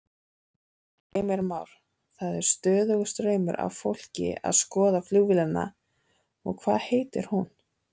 Heimir Már: Það er stöðugur straumur af fólki að skoða flugvélina og hvað heitir hún?